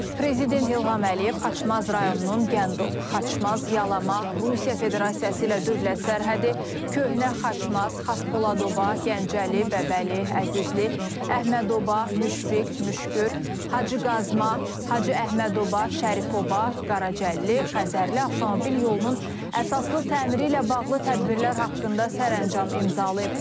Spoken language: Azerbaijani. Prezident İlham Əliyev Xaçmaz rayonunun Gəndob, Xaçmaz, Yalama, Rusiya Federasiyası ilə dövlət sərhədi, Köhnə Xaçmaz, Xaspoladoba, Gəncəli, Bəbəli, Əzizli, Əhmədoba, Müşfiq, Müşgür, Hacıqazma, Hacıəhmədoba, Şərifoba, Qaracəlli, Xəzərli avtomobil yolunun əsaslı təmiri ilə bağlı tədbirlər haqqında sərəncam imzalayıb.